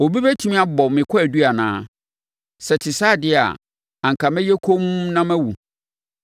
Obi bɛtumi abɔ me kwaadu anaa? Sɛ ɛte saa deɛ a, anka mɛyɛ komm na mawu.